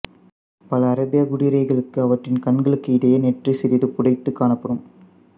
பல அரேபியக் குதிரைகளுக்கு அவற்றின் கண்களுக்கு இடையே நெற்றி சிறிது புடைத்துக் காணப்படும்